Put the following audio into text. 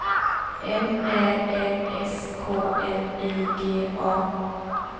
M Ä N S K L I G A